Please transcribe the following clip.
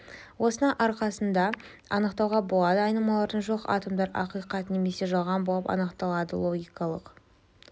осының арқасында анықтауға болады айнымалылары жоқ атомдар ақиқат немесе жалған болып анықталады логикалық